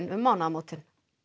um mánaðamótin